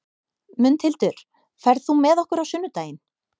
Mundhildur, ferð þú með okkur á sunnudaginn?